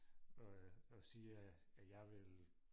og øh og siger at at jeg vil